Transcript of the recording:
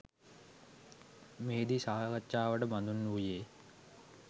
මෙහිදී සාකච්ඡාවට බඳුන් වූයේ